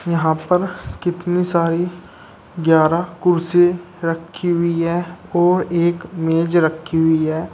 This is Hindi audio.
यहां पर कितनी सारी ग्यारह कुर्सी रखी हुई है और एक मेज रखी हुई है।